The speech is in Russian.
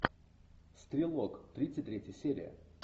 стрелок тридцать третья серия